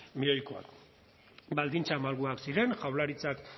milioikoa baldintza malguak ziren jaurlaritzak